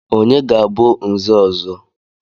Onye ga-abụ Nze ọzọ?